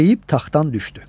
Deyib taxtdan düşdü.